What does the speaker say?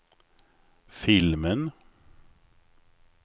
filmen